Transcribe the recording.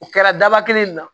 U kɛra daba kelen na